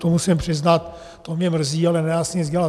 To musím přiznat, to mě mrzí, ale nedá se nic dělat.